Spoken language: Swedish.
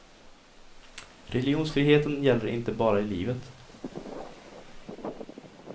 Religionsfriheten gäller inte bara i livet.